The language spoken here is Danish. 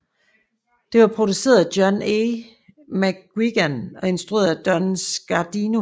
Det var produceret af John A McQuiggan og instrueret af Don Scardino